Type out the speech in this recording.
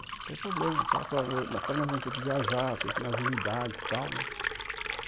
Não tem problema, mas nós vamos ter que viajar, ter que ir nas unidades, tal, né?